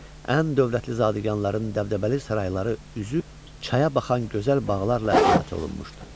Ən dövlətli zadəganların dəbdəbəli sarayları üzü çaya baxan gözəl bağlarla əhatə olunmuşdu.